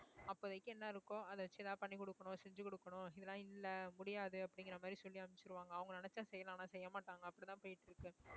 அப்போதைக்கு என்ன இருக்கோ அதை வச்சு ஏதாவது பண்ணி கொடுக்கணும் செஞ்சு கொடுக்கணும் இதெல்லாம் இல்லை முடியாது அப்படிங்கிற மாதிரி சொல்லி அனுப்பிச்சிருவாங்க அவங்க நினைச்சா செய்யலாம் ஆனா செய்ய மாட்டாங்க அப்படித்தான் போயிட்டு இருக்கு